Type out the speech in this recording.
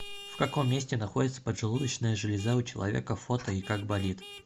в каком месте находится поджелудочная железа у человека фото и как болит